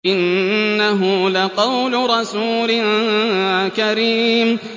إِنَّهُ لَقَوْلُ رَسُولٍ كَرِيمٍ